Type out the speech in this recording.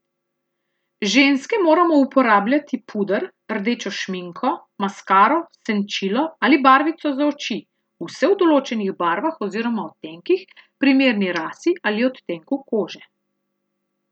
Ženske moramo uporabljati puder, rdečo šminko, maskaro, senčilo ali barvico za oči, vse v določenih barvah oziroma odtenkih, primernih rasi ali odtenku kože.